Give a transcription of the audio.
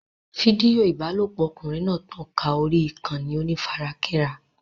Fídíò ìbálòpọ̀ ọkùnrin náà tàn ká orí ìkànnì onífarakínra.